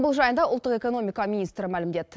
бұл жайында ұлттық экономика министрі мәлімдеді